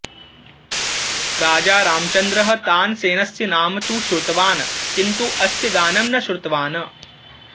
राजा रामचन्द्रः तानसेनस्य नाम तु श्रुतवान् किन्तु अस्य गानं न श्रुतवान्